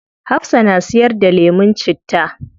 Hafsah na siyar da lemun citta